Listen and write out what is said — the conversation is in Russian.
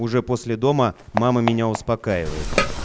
уже после дома мама меня успокаивает